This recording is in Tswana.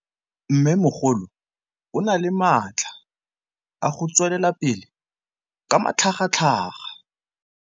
Mmêmogolo o na le matla a go tswelela pele ka matlhagatlhaga.